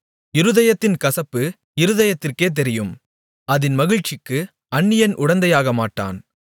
இருதயத்தின் கசப்பு இருதயத்திற்கே தெரியும் அதின் மகிழ்ச்சிக்கு அந்நியன் உடந்தை ஆகமாட்டான்